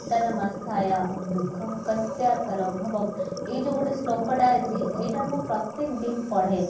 ଏଇ ଯଉ ଗୋଟେ ଶ୍ଳୋକଟା ଅଛି ଏଇଟା ମୁଁ ପ୍ରତ୍ୟକ ଦିନ ପଢେ